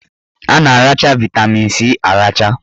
A na-aracha vaịtamin C aracha